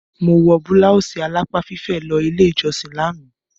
Mo wọ bláwùsì alápá fífẹ̀ lọ ilé ìjọsìn lánàá.